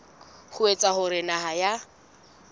ho etsa hore naha ya